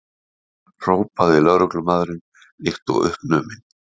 hrópaði lögmaðurinn líkt og uppnuminn.